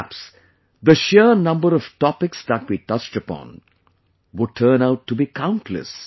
Perhaps, the sheer number of topics that we touched upon would turn out to be countless